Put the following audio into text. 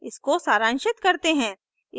इसको सरांशित करते हैं